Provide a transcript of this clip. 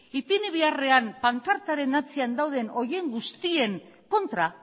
ipini beharrean pankartaren atzean dauden horien guztien kontra